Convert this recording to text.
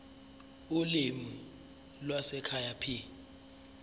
ulimi lwasekhaya p